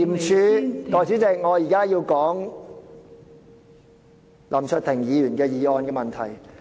代理主席，我現在要談林卓廷議員的議案。